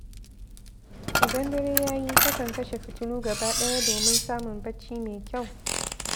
Idan dare ya yi, takan kashe fitilu gaba ɗaya domin samun barci mai kyau.